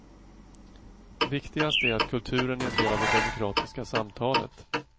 Viktigast är att kulturen är en del av det demokratiska samtalet.